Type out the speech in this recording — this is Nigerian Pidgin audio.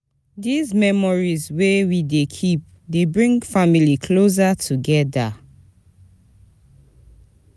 Dese memories wey we dey keep dey bring family closer togeda. togeda.